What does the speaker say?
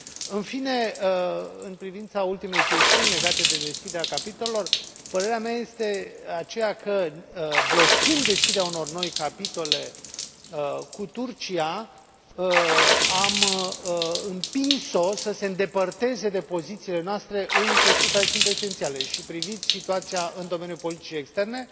În fine, în privința ultimei chestiuni legate de deschiderea capitolelor, părerea mea este aceea că, blocând deschiderea unor noi capitole cu Turcia, am împins o să se îndepărteze de pozițiile noastre în chestiuni care sunt esențiale, și priviți situația în domeniul politicii externe.